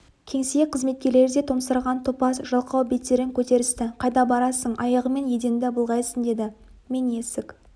кеңсе қызметкерлері де томсарған топас жалқау беттерін көтерісті қайда барасың аяғыңмен еденді былғайсың деді мен есік